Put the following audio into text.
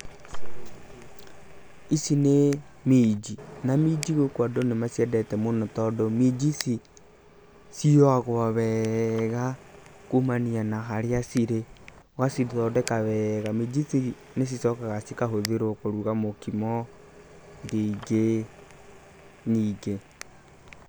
Ici nĩ minji, na minji gũkũ andũ gũkũ nĩ maciendete mũno tondũ, minji ici ciũagwo wega, kumania na harĩa cirĩ, ũgacithondeka wega. Minji ici nĩ cicokaga cikahũthĩrwo kũruga mũkimo, irio ingĩ nyingĩ.